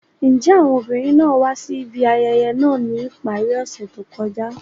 Njẹ awọn obinrin naa wa si ibi ayẹyẹ naa ni ipari ose to kọja?